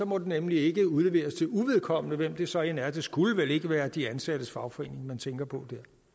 må den nemlig ikke udleveres til uvedkommende hvem det så end er det skulle vel ikke være de ansattes fagforening man tænker på